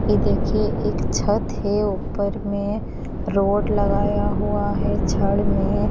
ये देखिए एक छत है ऊपर में रोड लगाया हुआ है छड़ में--